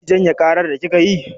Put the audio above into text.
Za ki janye ƙarar da kika yi?